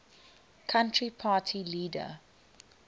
country party leader